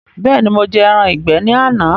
Bẹẹni, mo jẹ ẹran ìgbé ní àná.